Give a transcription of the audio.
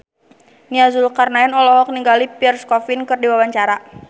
Nia Zulkarnaen olohok ningali Pierre Coffin keur diwawancara